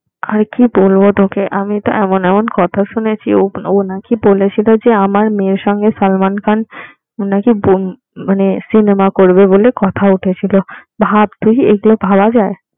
আর কি বলবো তোকে আমি তো এমন এমন কথা শুনেছি ও নাকি বলেছিল যে আমার মেয়ের সঙ্গে সালমান খান নাকি মানে সিনেমা করবে বলে কথা উঠেছিল ভাব তুই এগুলা ভাবা যায়